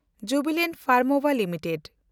Jubilant ᱯᱷᱮᱱᱰᱢᱳᱵᱦᱟ limited